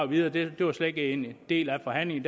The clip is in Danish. videre det var slet ikke en del af forhandlingen